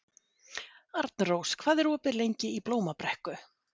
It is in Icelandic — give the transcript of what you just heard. Arnrós, hvað er opið lengi í Blómabrekku?